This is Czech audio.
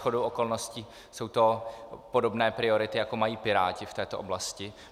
Shodou okolností jsou to podobné priority, jako mají Piráti v této oblasti.